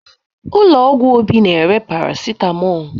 Ụlọ ọgwụ Obi na-ere paracetamol